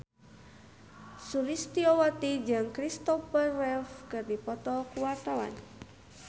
Sulistyowati jeung Kristopher Reeve keur dipoto ku wartawan